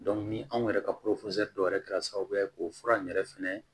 ni anw yɛrɛ ka dɔw yɛrɛ kɛra sababu ye k'o fura in yɛrɛ fɛnɛ